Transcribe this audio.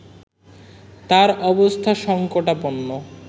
তার অবস্থা সংকটাপন্ন